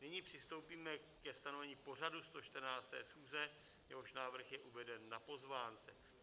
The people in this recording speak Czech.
Nyní přistoupíme ke stanovení pořadu 114. schůze, jehož návrh je uveden na pozvánce.